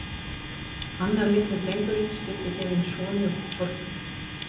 Annar litli drengurinn skyldi gefinn konu sorgarinnar og manni harmsins.